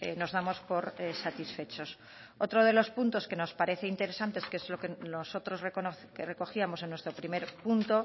nos damos por satisfechos otro de los puntos que nos parece interesante que es lo que nosotros recogíamos en nuestro primer punto